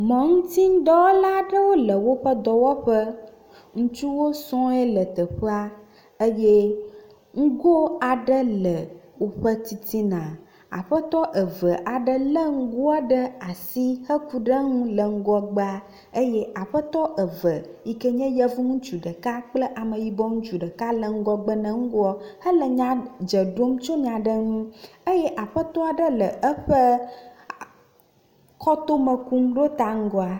mɔŋutinudɔwɔla aɖewo le woƒe dɔwƒe. Ŋutsuwo sɔe le teƒe eye ŋgo aɖe le woƒe titina. Aƒetɔ eve aɖe le ŋgoa ɖe asi heku ɖe eŋu le ŋgɔgbea eye aƒetɔ eve yi ke nye yevu ŋutsu ɖeka kple ameyibɔ ŋutsu ɖeka le ɖgɔbe ne ŋgo hele nya dze ɖom tso nya aɖe ŋu eye aƒetɔ aɖe le eƒe kɔtome kum ɖo ta ŋgɔa.